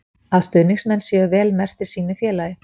Að stuðningsmenn séu vel merktir sínu félagi.